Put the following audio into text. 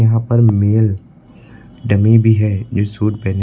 यहां पर male dummy भी है जो सूट पहने--